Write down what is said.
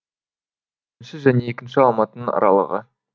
бірінші және екінші алматының аралығы